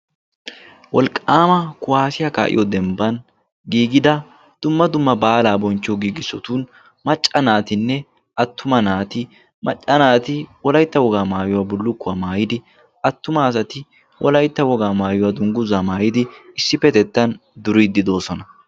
Wolqqaama kuwaasiya kaa'iyo dembban giigida dumma dumma baalaa bonchchiyo giigissotun macca naatinne attuma naati macca naati wolaytta wogaa maayuwaa bullukkuwaa maayidi attuma asati wolaytta wogaa maayuwaa dungguzaa maayidi issippetettan duriiddi doosona.